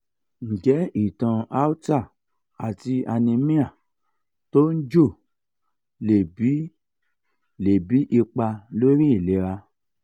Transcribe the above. nje itan aorta ati anemia to n jo le bi le bi ipa lori ilera?